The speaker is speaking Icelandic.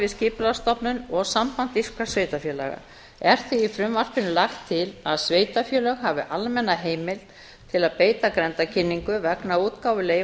skipulagsstofnun og samband íslenskra sveitarfélaga er því í frumvarpinu lagt til að sveitarfélög hafi almenna heimild til að beita grenndarkynningu vegna útgáfu